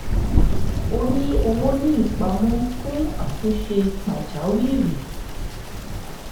ó ní owó ní ìpamọ́ fún àtúnṣe pàjáwìrì